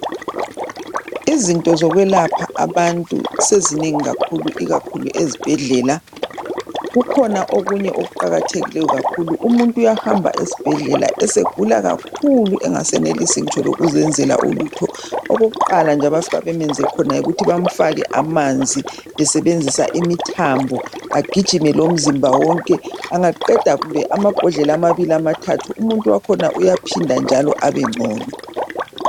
Izinto zokwelapha abantu sezinengi kakhulu ikakhulu ezibhedlela , kukhona okunye okuqakathekileyo kakhulu. Umuntu uyahamba esibhedlela esegula kakhulu engasenelisi ngitsho lokuzenzela ulutho. Okokuqala abafika bemenze khona yikuthi bemfake amanzi besebenzisa imithambo, egijime lomzimba wonke. Angaqeda amabhodlela amabili amathathu umuntu wakhona uyaohinda njalo abengcono.